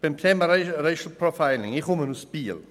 Zum Thema Racial Profiling: Ich komme aus Biel.